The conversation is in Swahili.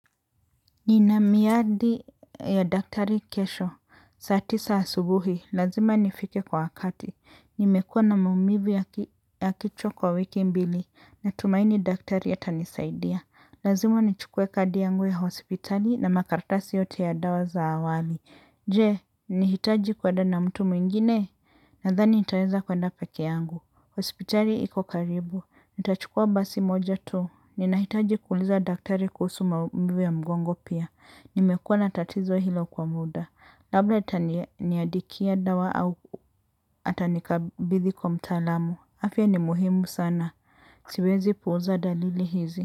Ninamiadi ya daktari kesho, saa tisa asubuhi, lazima nifike kwa wakati, nimekuwa na maumivu ya kichwa kwa wiki mbili, natumaini daktari ya atanisaidia. Lazima nichukue kadi yangu ya hospitali na makaratasi yote ya dawa za awali. Je, nihitaji kueda na mtu mwingine, nadhani nitaweza kuenda pekee yangu. Hospitali iko karibu, nitachukua basi moja tu, ninahitaji kuuliza daktari kuhusu maumivu ya mgongo pia, nimekuwa na tatizo hilo kwa muda, labda itaniadikia dawa au atanikabidhi kwa mtaalamu, afya ni muhimu sana, siwezi puuza dalili hizi.